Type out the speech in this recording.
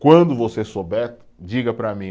Quando você souber, diga para mim.